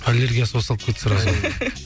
аллергиясы басталып кетті сразу